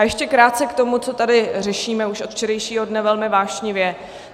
A ještě krátce k tomu, co tady řešíme už od včerejšího dne velmi vášnivě.